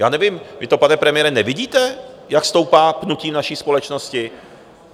Já nevím, vy to, pane premiére, nevidíte, jak stoupá pnutí v naší společnosti?